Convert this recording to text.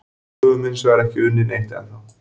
Við höfum hinsvegar ekki unnið neitt ennþá.